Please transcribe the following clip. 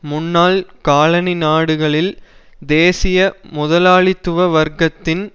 முன்னாள் காலனி நாடுகளில் தேசிய முதலாளித்துவ வர்க்கத்தின்